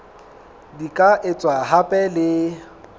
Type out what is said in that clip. di ka etswa hape le